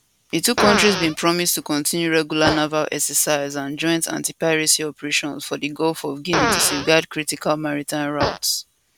di two kontris bin promise to continue regular naval exercises and joint antipiracy operations for di gulf of guinea to safeguard critical maritime routes